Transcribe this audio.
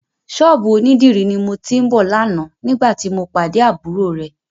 Ṣọ́ọ̀bù onídìrí ni mo ti ń bọ̀ lánàá nígbàtí mo pàdé àbúrò rẹ.